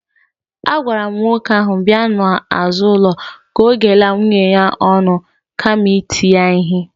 Agwara m nwoke ahụ bi n'azụ ụlọ ka ọ ghela nwunye ya ọnụ kama iti ya ihe